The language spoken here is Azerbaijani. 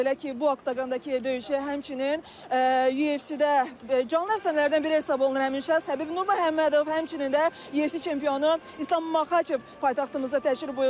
Belə ki, bu oqondakı döyüşü həmçinin UFC-də canlı əfsanələrdən biri hesab olunan Həbib Nurməhəmmədov, həmçinin də UFC çempionu İslam Maxaçev paytaxtımıza təşrif buyurublar.